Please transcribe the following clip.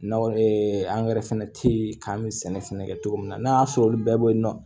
N'aw angɛrɛ fɛnɛ te yen k'an bɛ sɛnɛ fɛnɛ kɛ cogo min na n'a y'a sɔrɔ olu bɛɛ be yen nɔ